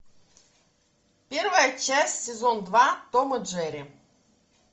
первая часть сезон два том и джерри